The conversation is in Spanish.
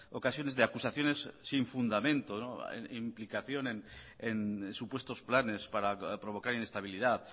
ocasiones de acusaciones sin fundamento implicación en supuestos planes para provocar inestabilidad